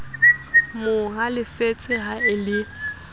mo halefetse ha e le